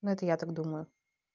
ну это я так думаю